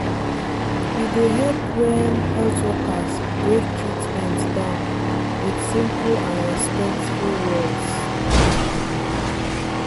e dey help when health workers break treatment down with simple and respectful words.